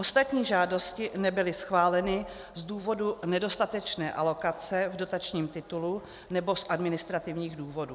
Ostatní žádosti nebyly schváleny z důvodu nedostatečné alokace v dotačním titulu nebo z administrativních důvodů.